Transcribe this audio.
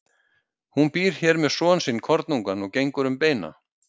Hún býr hér með son sinn kornungan og gengur um beina.